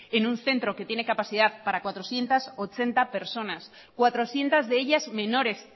en un centro que tiene capacidad para cuatrocientos ochenta personas cuatrocientos de ellas menores